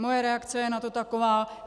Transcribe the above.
Moje reakce je na to taková.